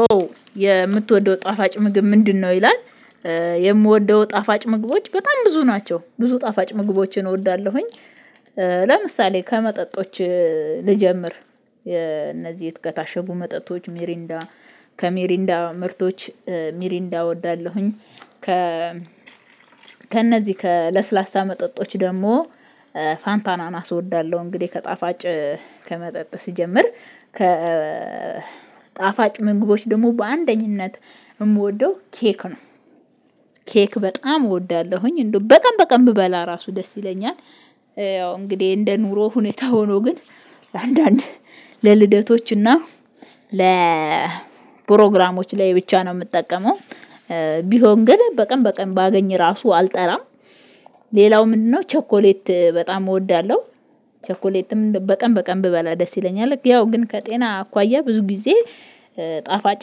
ኦ የምትወደው ጣፋጭ ምግብ ምንድነው? ይላል የምወደው ጣፋጭ ምግቦች በጣም ብዙ ናቸው ብዙ ጣፋጭ ምግቦችን እወዳለሁኝ። ለምሳሌ ከመጠጦች ልጀምር እነዚህ ከታሸጉ መጠጦች ሜሪንዳ ከሜሪንዳ ምርቶች ሜሪንዳ እወዳለሁኝ። ከ ከእነዚህ ከለስላሳ መጠጦች ደግሞ ፋንታ አናናስ እወዳለሁ። እንግዲህ ከጣፋጭ ከመጠጥ ሲጀምር ከ ጣፋጭ ምግቦች ደግሞ በአንደኝነት የምወደው ኬክ ነው። ኬክ በጣም እወዳለሁኝ እንደው በቀን በቀን ብበላ ራሱ ደስ ይለኛል። ያው እንግዲህ እንደ ኑሮ ሁኔታ ሆኖ ግን አንዳንድ ለልደቶችና ለፕሮግራሞች ላይ ብቻ ነው የምጠቀመው። ቢሆን ግን በቀን በቀን ባገኝ ራሱ አልጠለም። ሌላው ምንድነው? ቸኮሌት በጣም እወዳለሁ። ቸኮሌትም በቀን በቀን ብበላ ደስ ይለኛል ያው ግን ከጤና አኳያ ብዙ ጊዜ። ጣፋጭ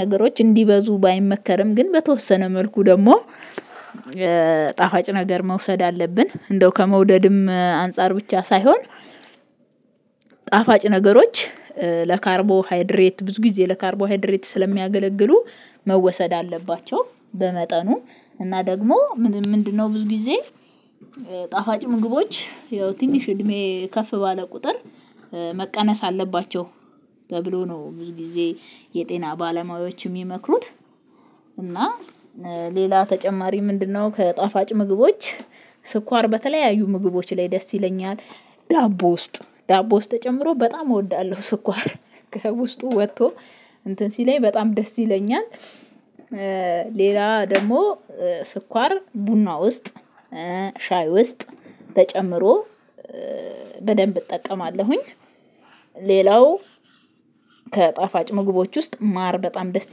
ነገሮች እንዲበዙ ባይመከርም ግን በተወሰነ መልኩ ደግሞ ጣፋጭ ነገር መውሰድ አለብን። እንደው ከመውደድም አንፃር ብቻ ሳይሆን ጣፋጭ ነገሮች ለካርቦሃይድሬት ብዙ ጊዜ ለካርቦሃይድሬት ስለሚያገለግሉ መወሰድ አለባቸው። በመጠኑ እና ደግሞ ምንድነው? ብዙ ጊዜ ጣፋጭ ምግቦች ያው ትንሽ እድሜ ከፍ ባለ ቁጥር መቀነስ አለባቸው ተብሎ ነው ብዙ ጊዜ የጤና ባለሙያዎች የሚመክሩት። እና ሌላ ተጨማሪ ምንድነው? ከጣፋጭ ምግቦች ስኳር በተለያዩ ምግቦች ላይ ደስ ይለኛል። ዳቦ ውስጥ ዳቦ ውስጥ ተጨምሮ በጣም እወዳለሁ ስኳር ከውስጡ ወጥቶ እንትን ሲለኝ በጣም ደስ ይለኛል። ሌላ ደግሞ ስኳር ቡና ውስጥ ሻይ ውስጥ ተጨምሮ በደንብ እጠቀማለሁኝ። ሌላው ከጣፋጭ ምግቦች ውስጥ ማር በጣም ደስ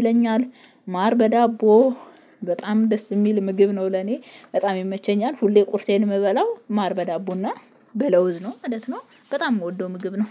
ይለኛል። ማር በዳቦ በጣም ደስ የሚል ምግብ ነው ለኔ በጣም ይመቸኛል ሁሌ ቁርሴን የምበላው ማር በዳቦና በለውዝ ነው ማለት ነው። በጣም የምወደው ምግብ ነው